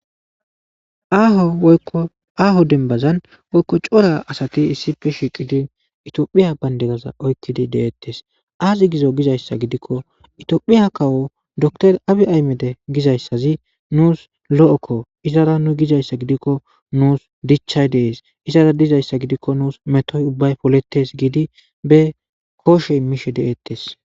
ooaaho dembazan woykko cora asati issi fe shiqidin itiophiya baynde gaza oykkidi de7ettes aazi gizo gizayssa gidikko itiophiya kawo doktor abi aymede gizayssazi nuus lo7okko izara nu gizayssa gidikko nuus dichchay dees izara dizayssa gidikko nuus metoy ubbay poletes giidi be kooshe mishe de7ettes